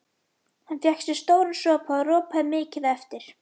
Hann fékk sér stóran sopa og ropaði mikið á eftir.